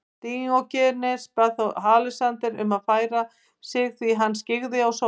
Díógenes bað þá Alexander um að færa sig því hann skyggði á sólina.